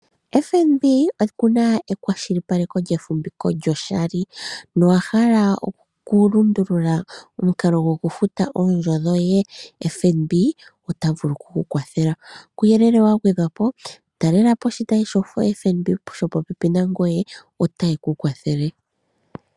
FNB oku na ekwashilipaleko lyefumbiko lyo shali, nowahala oku lundulula omukalo go ku futa eendjo dhoye, FNB ota vulu oku ku kwathele. Kuuyelele wa gwedhwa po talela po oshitayi shoFNB sho popepi nangoye ota ye ku kwathele.